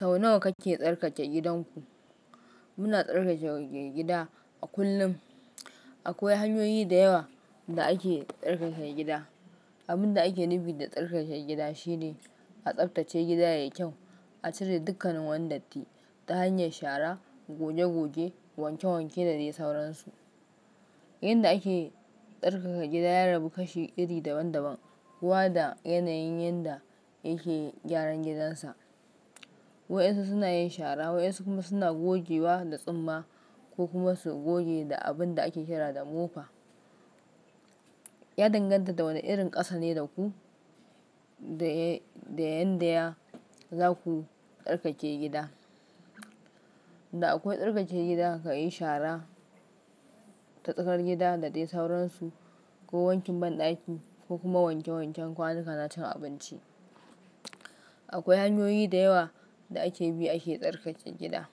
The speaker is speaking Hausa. Sau nawa kake tsarkake gidanku? Muna tsarkaka gida a kullum. Akwai hanyoyi da yawa da ake tsarkaka gida. Abin da ake nufi da tsarkaka gida shine a tsaftace gida yayi kyau, a cire dukkanin wani datti ta hanyar shara, goge-goge, wanke-wanke da dai sauransu. Yanda ake tsarkaka gida ya rabu kashi iri daban-daban. Kowa da yanayin yanda yake gyara gidansa. Waɗansu suna yin shara, waɗansu kuma suna gogewa da tsumma ko kuma su goge da abin da ake shara da mofa. Ya danganta da wane irin ƙasa ne da ku, da yanda za ku tsarkake gida. Da akwai tsarkake gida ka yi shara ta tsakar gida da dai sauransu ko wankin banɗaki ko kuma wanke-wanken kwanuka na cin abinci. Akwai hanyoyi da yawa da ake bi ake tsarkaka gida.